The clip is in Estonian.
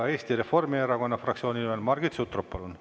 Eesti Reformierakonna fraktsiooni nimel Margit Sutrop, palun!